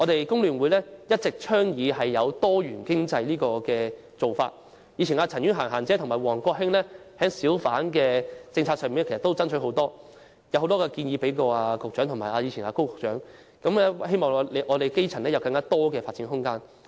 工聯會一直倡議多元經濟，前議員陳婉嫻即"嫻姐"和王國興就小販政策曾經多番爭取，向局長及前任高局長提出很多建議，為基層爭取更多發展空間。